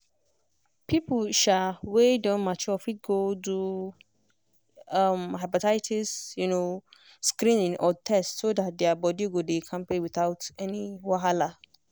people um wey don mature fit go do um hepatitis um screening or test so that their body go dey kampe without any wahala.